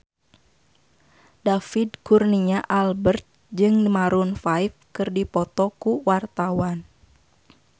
David Kurnia Albert jeung Maroon 5 keur dipoto ku wartawan